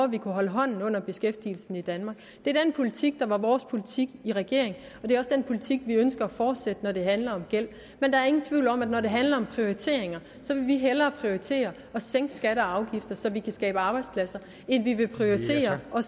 vi kunne holde hånden under beskæftigelsen i danmark det er den politik der var vores politik i regering og det er også den politik vi ønsker at fortsætte når det handler om gæld men der er ingen tvivl om at når det handler om prioriteringer så vil vi hellere prioritere at sænke skatter og afgifter så vi kan skabe arbejdspladser end vi vil prioritere at